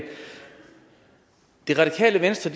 det radikale venstre